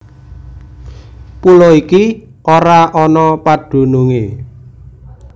Pulo iki ora ana padunungé